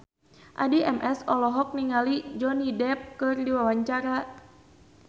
Addie MS olohok ningali Johnny Depp keur diwawancara